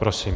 Prosím.